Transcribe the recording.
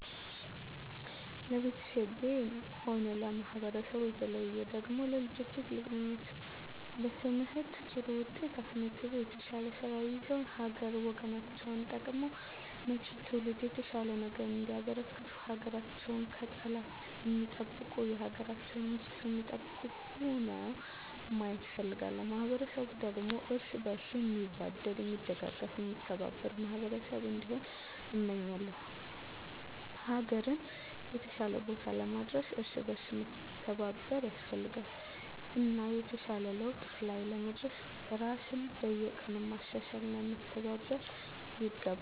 ለቤተሰቤም ሆነ ለማህበረሰቡ በተለየ ደግሞ ለልጆቼ ትልቁ ምኞቴ በትምህርት ጥሩ ውጤት አስመዝግበው የተሻለ ስራ ይዘው ሀገር ወገናቸውን ጠቅመው ለመጭው ትውልድ የተሻለ ነገር እንዲያበረክቱ ሀገራቸውን ከጠላት ሚጠብቁ የሀገራቸውን ሚስጥር ሚጠብቁ ሁነው ማየት እፈልጋለሁ። ማህበረሰቡ ደግሞ እርስ በእርሱ ሚዋደድ ሚደጋገፍ ሚከባበር ማህበረሰብ እንዲሆን እመኛለው። ሀገርን የተሻለ ቦታ ለማድረስ እርስ በእርስ መተባበር ያስፈልጋል እና የተሻለ ለውጥ ላይ ለመድረስ ራስን በየቀኑ ማሻሻል እና መተባበር ይገባል።